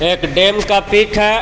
एक डेम का पिक है.